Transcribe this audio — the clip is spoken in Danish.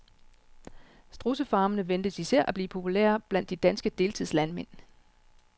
Strudsefarmene ventes især at blive populære blandt de danske deltidslandmænd.